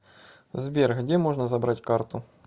сбер где можно забрать карту